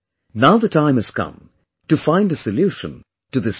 Now the time has come to find a solution to this problem